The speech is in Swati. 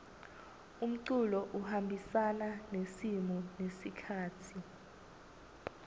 umculo uhambisana nesimo nesikhatsi